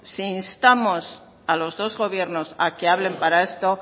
si instamos a los dos gobiernos a que hablen para esto